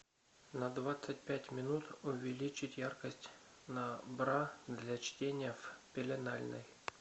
на двадцать пять минут увеличить яркость на бра для чтения в пеленальной